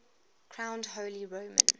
crowned holy roman